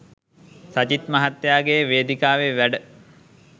සජිත් මහත්තයාගේ වේදිකාවේ වැඩ.